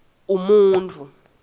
umuntfu